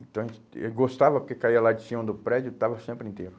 Então, a gente, eu gostava, porque caía lá de cima do prédio, estava sempre inteiro.